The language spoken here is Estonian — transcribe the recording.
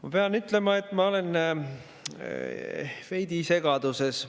Ma pean ütlema, et ma olen veidi segaduses.